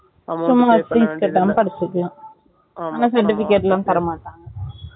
சும்மா fees கட்டாம படிச்சிக்களாம் ஆனா certificate லாம் தரமாட்டங்க